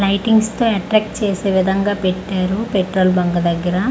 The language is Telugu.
లైటింగ్స్ తో అట్రాక్ట్ చేసి విధంగా పెట్టారు పెట్రోల్ బ్యాంక్ దెగ్గర.